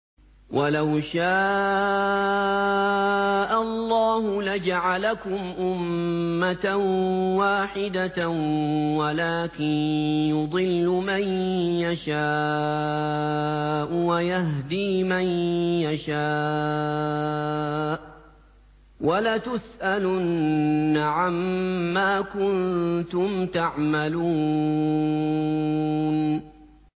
وَلَوْ شَاءَ اللَّهُ لَجَعَلَكُمْ أُمَّةً وَاحِدَةً وَلَٰكِن يُضِلُّ مَن يَشَاءُ وَيَهْدِي مَن يَشَاءُ ۚ وَلَتُسْأَلُنَّ عَمَّا كُنتُمْ تَعْمَلُونَ